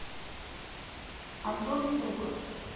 антон струков